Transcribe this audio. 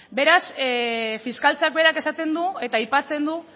beraz fiskaltzak berak esaten du eta aipatzen du